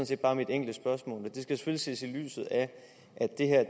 set bare mit enkle spørgsmål men det skal selvfølgelig ses i lyset af